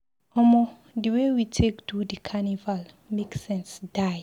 Omo di wey we take do di carnival make sense die.